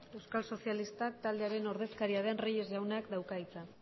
euskal sozialistak taldearen ordezkaria den reyes jaunak dauka hitza